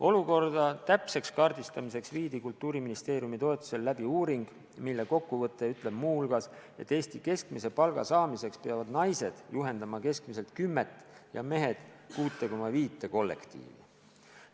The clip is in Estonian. Olukorra täpseks kaardistamiseks viidi Kultuuriministeeriumi toetusel läbi uuring, mille kokkuvõte ütleb muu hulgas, et Eesti keskmise palga saamiseks peavad naised juhendama keskmiselt kümmet ja mehed 6,5 kollektiivi.